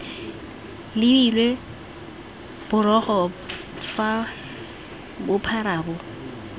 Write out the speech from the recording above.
lebilwe borogo fa bophara bo